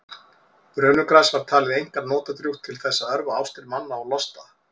brönugras var talið einkar notadrjúgt til þess að örva ástir manna og losta